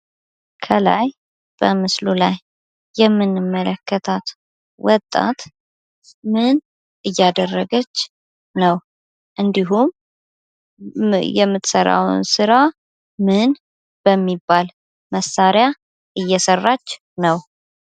ከላይ በምስሉ ላይ የምንመለከታት ወጣት ምን እያደረገች ነው? እንድሁም የምትሰራው ስራ ምን በሚባል መሳሪያ እየሰራች ነው?